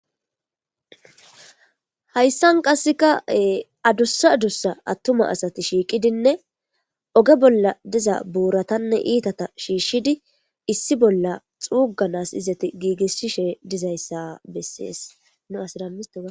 hayssan qasseka adussa adussa attuma asati shiiqidinne oge bolla diza buuratanne iitata shiishshidi issi bolla xuuganas izati giigisshishe dizayssa bessees n as